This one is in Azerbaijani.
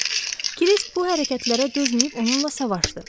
Kriski bu hərəkətlərə dözməyib onunla savaşdı.